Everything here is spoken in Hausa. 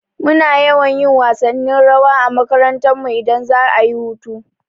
Muna yawan yin wasannin rawa a makarantarmu idan za'a yi hutu.